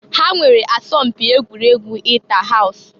Ha nwere asọm mpi egwuregwu ita haus.